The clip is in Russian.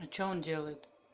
а что он делает